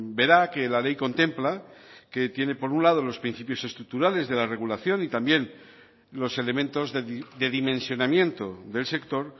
vera que la ley contempla que tiene por un lado los principios estructurales de la regulación y también los elementos de dimensionamiento del sector